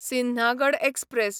Sinhagad express